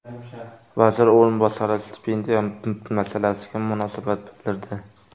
Vazir o‘rinbosari stipendiya masalasiga munosabat bildirdi.